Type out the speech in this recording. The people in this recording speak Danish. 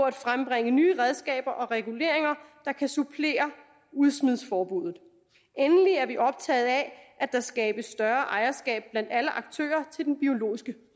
at frembringe nye redskaber og reguleringer der kan supplere udsmidningsforbuddet endelig er vi optaget af at der skabes større ejerskab blandt alle aktører til den biologiske